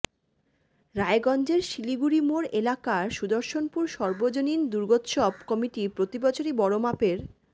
রায়গঞ্জের শিলিগুড়িমোড় এলাকার সুদর্শনপুর সর্বজনীন দুর্গোত্সব কমিটি প্রতিবছরই বড়মাপের